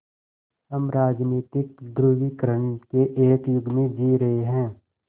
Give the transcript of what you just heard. हम राजनीतिक ध्रुवीकरण के एक युग में जी रहे हैं